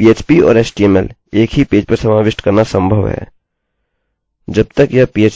php और html एक ही पेज पर समाविष्ट करना संभव है जब तक यह php टैग्स के मध्य नहीं है जब तक यह एक एको फंक्शनecho function में है